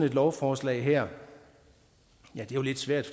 et lovforslag her ja det er lidt svært